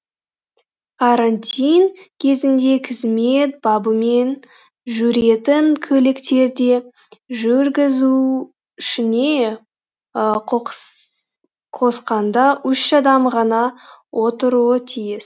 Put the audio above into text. карантин кезінде қызмет бабымен жүретін көліктерде жүргізушіні қосқанда үш адам ғана отыруы тиіс